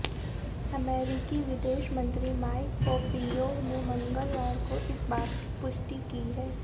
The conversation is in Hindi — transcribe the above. अमेरिकी विदेश मंत्री माइक पोंपेयो ने मंगलवार को इस बात की पुष्टि की है